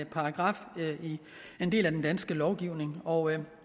paragraf i en del af den danske lovgivning og